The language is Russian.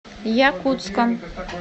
якутском